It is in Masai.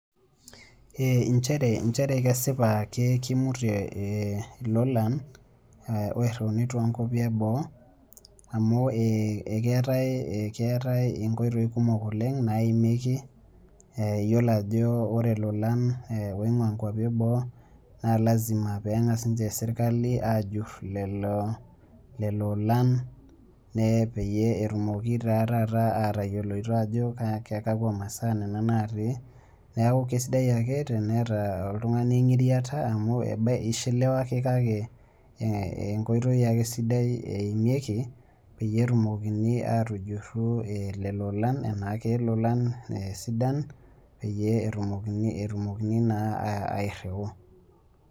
Injere njere kesipa kimutie ilolan oirriuni tonkwapi eboo, amu ekeetae inkoitoii kumok oleng naimieki, yiolo ajo ore ilolan oing'ua nkwapi eboo na lasima peng'as inche serkali ajurr lelo olan, peyie etumoki taa taata atayioloito ajo kekua masaa nena natii, neeku kesidai ake teneeta oltung'ani eng'iriata amu ebaiki ishiliwa ake kake enkoitoi ake sidai eimieki, peyie etumokini atujurru lelo olan ena kelolan sidan, peyie etumokini naa airriu.